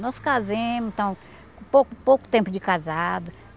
Nós casemos, então, com pouco pouco tempo de casado.